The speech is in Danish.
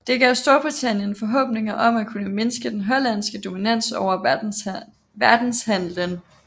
Det gav Storbritannien forhåbninger om at kunne mindske den hollandske dominans over verdenshandelen